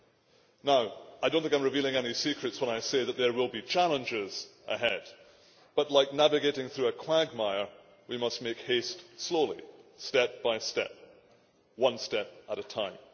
I do not think that I am revealing any secrets when I say that there will be challenges ahead but, like navigating through a quagmire, we must make haste slowly, step by step, one step at a time.